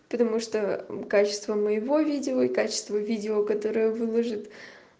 ты думаешь что качество моего видео и качество видео которое выложит